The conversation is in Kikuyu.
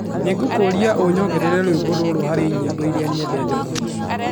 Nĩ ngũkũũria ũnyongerere rwĩmbo rũrũ hari nyimbo irĩa nyendete mũno